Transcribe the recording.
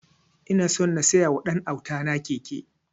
Ina so na siya wa ɗan auta na keke